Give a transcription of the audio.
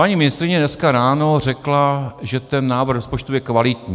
Paní ministryně dneska ráno řekla, že ten návrh rozpočtu je kvalitní.